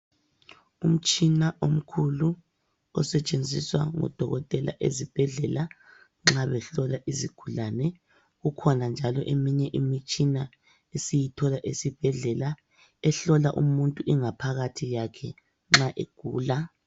Umtshina omkhulu osetshenziswa ngodokotela nxa behlola izigulane. Kukhona njalo eminye imitshina esiyithola esibhedlela ehlola umuntu ingaphakathi yakhe nxa egula.